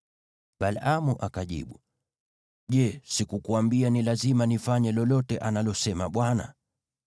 Balaamu akajibu, “Je, sikukuambia ni lazima nifanye lolote analosema Bwana ?”